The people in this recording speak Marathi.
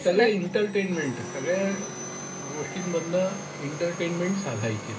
त्याला एन्टरटेन्टमेंट आहे. सगळ्या गोष्टींमधन एंटरटेन्मेन्ट साधायची.